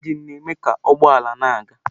Injin na-eme ka ụgbọ ala na-aga.